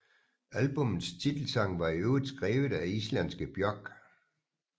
Albummets titelsang var i øvrigt skrevet af islandske Björk